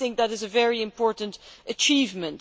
I think that is a very important achievement.